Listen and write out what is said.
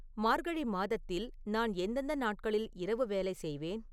மார்கழி மாதத்தில் நான் எந்தெந்த நாட்களில் இரவு வேலை செய்வேன்